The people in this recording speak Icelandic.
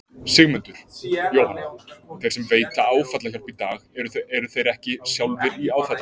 Sigmundur: Jóhanna, þeir sem veita áfallahjálp í dag eru þeir ekki sjálfir í áfalli?